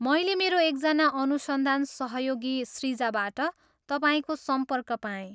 मैले मेरो एकजना अनुसन्धान सहयोगी सृजाबाट तपाईँको सम्पर्क पाएँ।